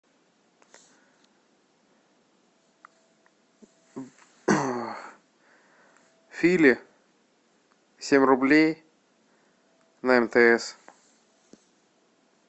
филе семь рублей на мтс